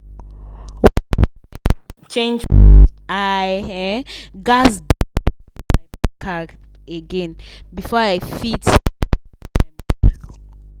.change. i um gats .p again before i fit